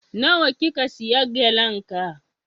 Na wa kika siya gelen ga?